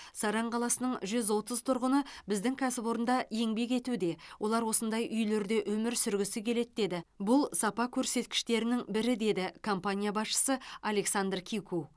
саран қаласының жүз отыз тұрғыны біздің кәсіпорында еңбек етуде олар осындай үйлерде өмір сүргісі келеді деді бұл сапа көрсеткіштерінің бірі деді компания басшысы александр кику